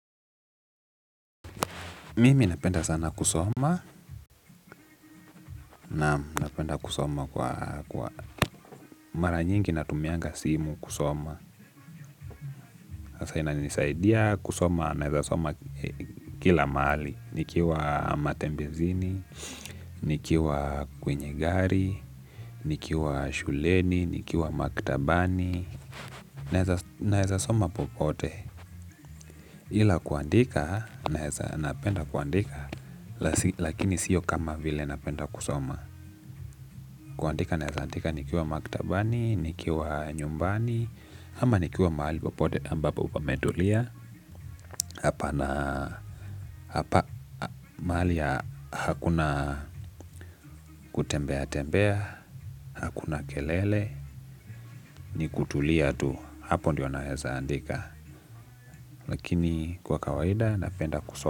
Mimi napenda sana kusoma naam napenda kusoma kwa mara nyingi natumianga simu kusoma. Hasa inanisaidia kusoma naweza soma kila mahali. Nikiwa matembezini nikiwa kwenye gari nikiwa shuleni nikiwa maktabani. Naweza soma popote. Ila kuandika naweza napenda kuandika lakini siyo kama vile napenda kusoma. Kuandika naweza andika nikiwa maktabani, nikiwa nyumbani ama nikiwa mahali popote ambapo pametulia hapa na hapa mahali hakuna kutembea tembea hakuna kelele ni kutulia tu hapo ndiyo naweza andika lakini kwa kawaida napenda kusoma.